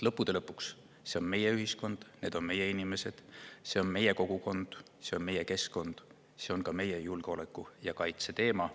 Lõppude lõpuks, see on meie ühiskond, need on meie inimesed, see on meie kogukond, see on meie keskkond, see on ka meie julgeoleku ja kaitse teema.